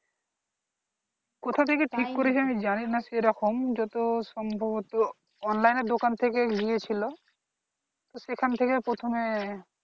কোথা থেকে ঠিক করেছে আমি জানি না সেরকম যত সম্ভবতঃ online এর দোকান থেকে নিয়েছিল তো সেখান থেকে প্রথমে